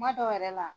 Kuma dɔw yɛrɛ la